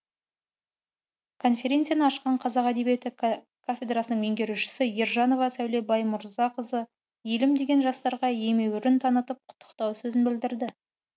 конференцияны ашқан қазақ әдебиеті кафедрасының меңгерушісі ержанова сәуле баймұрзақызы елім деген жастарға емеурін танытып құттықтау сөзін білдірді